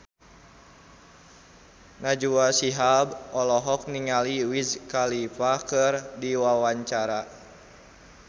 Najwa Shihab olohok ningali Wiz Khalifa keur diwawancara